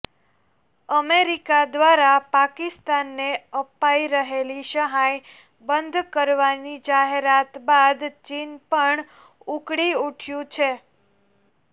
America દ્વારા પાકિસ્તાનને અપાઈ રહેલી સહાય બંધ કરવાની જાહેરાત બાદ ચીન પણ ઉકળી ઉઠ્યું છે